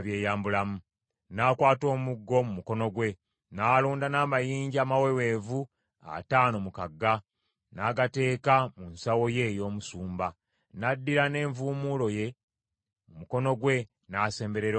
N’akwata omuggo mu mukono gwe, n’alonda n’amayinja amaweweevu ataano mu kagga, n’agateeka mu nsawo ye ey’omusumba. N’addira n’envuumuulo ye mu mukono gwe n’asemberera Omufirisuuti.